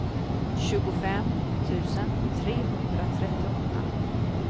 tjugofem tusen trehundratrettioåtta